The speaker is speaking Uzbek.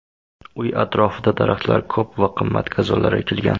Uy atrofida daraxtlar ko‘p va qimmat gazonlar ekilgan.